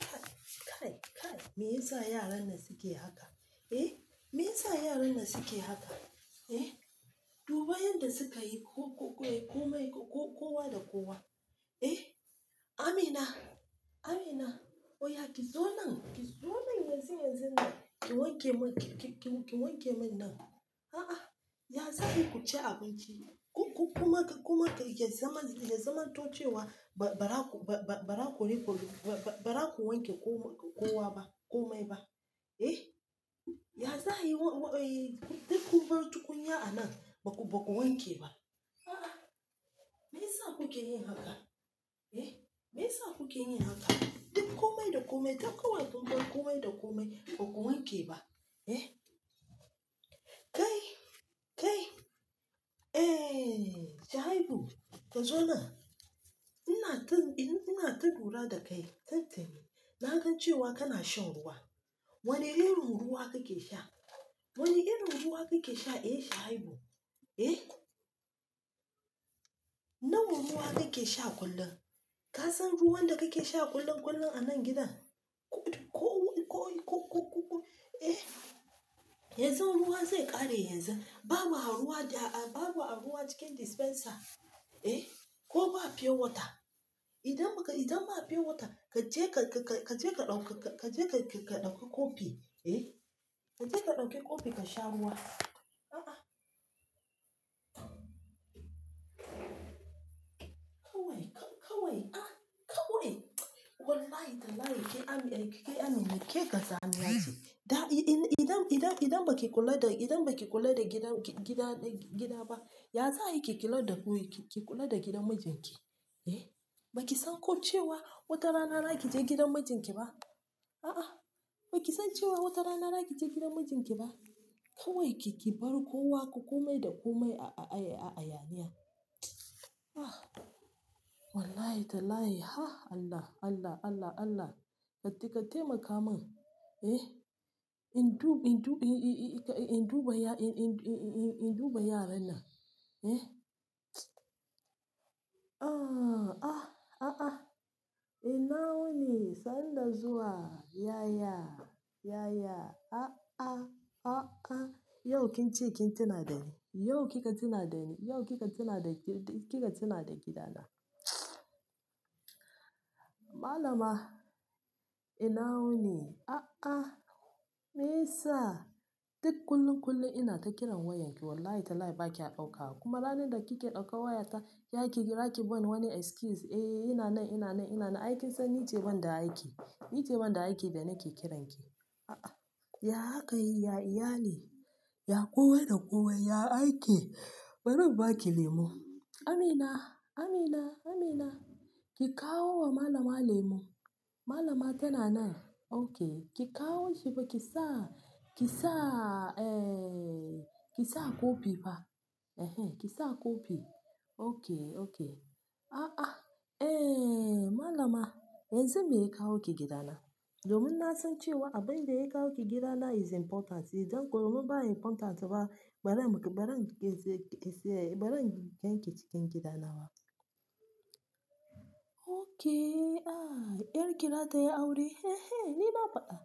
Kai, kai, me yasa yaran nan suke haka? Eh, me yasa yaran nan suke haka? Eh, duba yanda suka yi ku-ku-ku-ku-ku-komai ku-ku-kowa da kowa. Eh, Amina, Amina, oya ki zo nan, ki zo nan yanzu, yanzu nan ki wanke mun, ki-ki-ki wanke mun nan. A'a, ya za ayi kuci abinci? Ku-ku-kuma ka kuma ka ya zaman, ya zaman tocewa ba-ba-ba-ba-ba ra ku riko ba-ba-ba ra ku wanke kowa ba komai ba. Eh, ya za ayi duk kun bar tukunya a nan baku baku wanke ba? A'a, me yasa kuke yin haka? Eh, me yasa kuke yin haka? Inda komai tafi kawai, kun bar komai da komai baku wanke ba, eh. Kai, kai, eh, Shuaibu ka zo nan. Ina ta, ina ta lura da kai tin-tini na gan cewa kana shan ruwa. Wane irin ruwa kake sha? Wane irin ruwa kake sha, eh Shuaibu? Kai, kai, eh, Shuaibu ka zo nan ina kan. Kasan ruwan da kake sha kullum-kullum anan gidan ku-ku-ku-ku-ku, eh, yanzu ruwa zai ƙare yanzu. Babu a ruwa babu, a babu a ruwa cikin dispenser. Eh, ko ba pure water. Idan ba ka, idan ba pure water, ka je ka-ka-ka je ka ɗauka ka je ka-ka ɗauki kofi. Eh, ka je ka ɗauki kofi ka sha ruwa. Aa keh kazamiyace ke gazanti. Da i-i-idan, idan, idan baki kula da, idan baki kula da gidan, gi-gida, gida ba, ya za a yi ki ki lodda gobe ki kula da gidan mijinki? Eh, baki san ko cewa wata rana za ki je gidan mijinki ba? A'a, baki san cewa wata rana za ki je gidan mijinki ba? Kawai ki ki bar kowa ku kumai da kumai a-a-a-a-a yaniya. Ah, wallahi tallahi ha Allah, Allah, Allah, Allah. Karki, ki taimaka mun. Eh, in dubi, in dubi i-i-i-in duba ya, in-in-in-in duba yaran nan. Eh, ah, ah, a'a. Ina wuni sanda zuwa. Yaya, yaya, a'a, a'a. Yau kin ce kin tuna da ni. Yau kika tuna da ni. Yau kika tuna da ki, kika tuna da gida na. Malama ina wuni. A'a, me yasa? Duk kullum kullum ina ta kiran wayan ki wallahi talahi ba ki a ɗauka ba. Kuma ranar da kike ɗauka wayata, ya ki, ya ki bani wani excuse. Eh, ina nan, ina nan, ina nan. Ai kin san ni ce wanda ake, ni ce wanda ake da nake kiranki. A'a, ya haka ya yi ya iyale. Ya kowa da kowa, ya aiki. Bari inbaki lemu. Amina, Amina, Amina ki kawo wa malama lemu. Malama tana nan. Okay, ki kawo shi ba ki sa, ki sa, eh, ki sa kofi ba. Ehen, ki sa kofi. Okay, okay. A'a, eh, malama yanzu meya kawo ki gida na. Domin na san cewa abin da ya kawo ki gida na is important. Idan kuma ba important ba, bari mu, bari mu ke, ke, ke, bari ganki cikin gida nawa. Okay, ah, 'yarki zatayi aure. Ehen, ni na fada.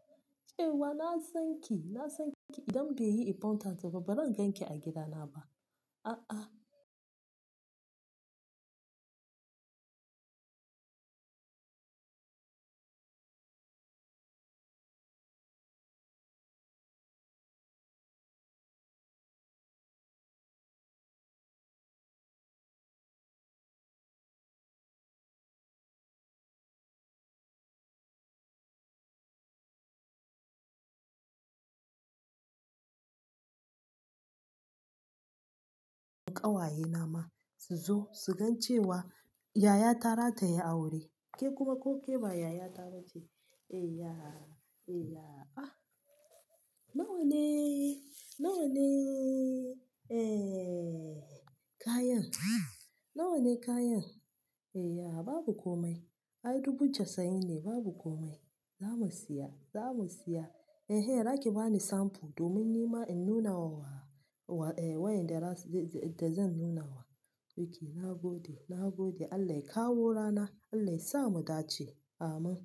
Cewa na san ki, na san ki. Idan bai yi important ba, bari ganki a gida na ba. A'a. Ƙawaye nama su zo su gan cewa yaya ta zata yi aure. Ke kuma ko ke ba yaya ta ba ce. Eh, ya. Eh, ya. Ah, nawa ne, nawa ne, eh, kayan? Nawa ne kayan? Eh, ya babu komai. Ai dubu casa'in ne babu komai. Za mu siya, za mu siya. Ehen, raki bani samfu domin nima in nuna wa wa, wa, eh wayanda za, da zan nuna wa. Okay, na gode, na gode. Allah ya kawo rana, Allah ya sa mu dace. Amin.